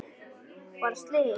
Varð slys?